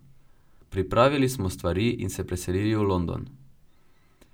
Pripravili smo stvari in se preselili v London.